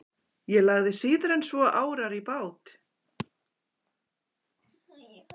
Ég lagði síður en svo árar í bát.